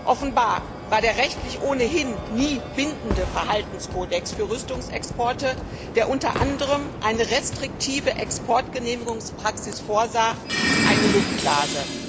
Offenbar war der rechtlich ohnehin nie bindende Verhaltenskodex für Rüstungsexporte, der unter anderem eine restriktive Exportgenehmigungspraxis vorsah, eine Luftblase.